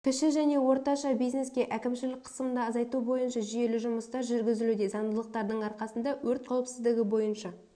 кіші және орташа бизнеске әкімшілік қысымды азайту бойынша жүйелі жұмыстар жүргізілуде заңдылықтардың арқасында өрт қауіпсіздігі бойынша